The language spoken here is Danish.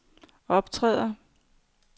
optræder